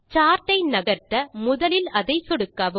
chart ஐ நகர்த்த முதலில் அதை சொடுக்கவும்